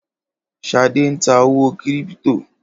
Ṣadé ń ta owó kírípítò